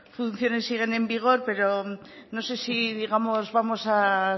funciones siguen en vigor pero no sé si digamos vamos a